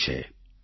રાજૂ છે